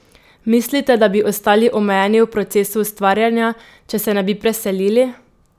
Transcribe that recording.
Mislite, da bi ostali omejeni v procesu ustvarjanja, če se ne bi preselili?